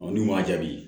n'u m'a jaabi